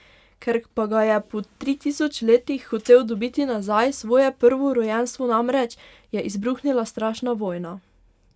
Ker pa ga je po tri tisoč letih hotel dobiti nazaj, svoje prvorojenstvo namreč, je izbruhnila strašna vojna.